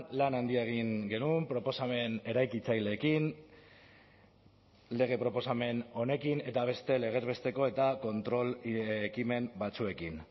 lan handia egin genuen proposamen eraikitzaileekin lege proposamen honekin eta beste legez besteko eta kontrol ekimen batzuekin